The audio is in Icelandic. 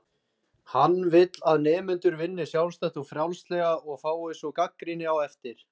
Hann vill að nemendur vinni sjálfstætt og frjálslega og fái svo gagnrýni á eftir.